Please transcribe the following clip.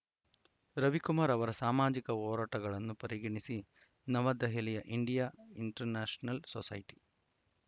ರವಿಕುಮಾರ್‌ ಅವರ ಸಾಮಾಜಿಕ ಹೋರಾಟಗಳನ್ನು ಪರಿಗಣಿಸಿ ನವದೆಹಲಿಯ ಇಂಡಿಯಾ ಇಂಟರ್‌ ನ್ಯಾಷನಲ್‌ ಸೊಸೈಟಿ